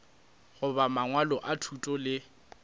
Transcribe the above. goba mangwalo a thuto le